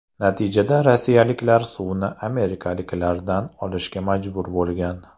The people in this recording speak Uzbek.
Natijada rossiyaliklar suvni amerikaliklardan olishga majbur bo‘lgan.